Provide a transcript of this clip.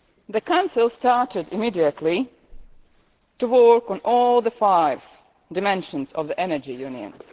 The Council started immediately to work on all the five dimensions of the Energy Union.